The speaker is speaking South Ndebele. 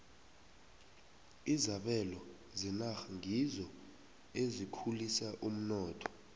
izabelo zenarha ngizo ezikhulisa umnotho